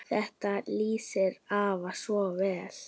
Þetta lýsir afa svo vel.